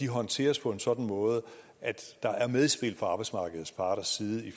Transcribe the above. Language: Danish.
håndteres på en sådan måde at der er medspil fra arbejdsmarkedets parters side